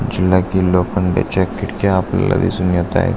जीला की लोखंडीच्या खिडक्या आपल्याला दिसून येताय.